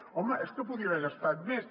home és que podia haver gastat més